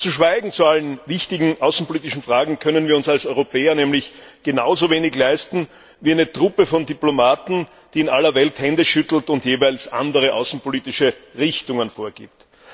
Zu allen wichtigen außenpolitischen Fragen zu schweigen, können wir uns als Europäer nämlich genauso wenig leisten wie eine Truppe von Diplomaten, die in aller Welt Hände schüttelt und jeweils andere außenpolitische Richtungen vorgibt.